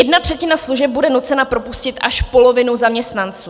Jedna třetina služeb bude nucena propustit až polovinu zaměstnanců.